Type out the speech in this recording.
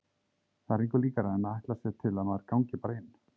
Það er engu líkara en að ætlast sé til að maður gangi bara inn.